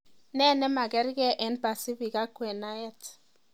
Nee nemakerkei eng pasifik ak kwenaet